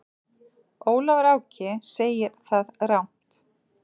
Ólafur Áki segir það rangt.